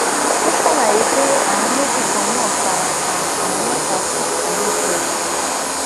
ó ṣàlàyé pé àwọn méjì kan náà fara pa àwọn mẹta sí kú lójúẹsẹ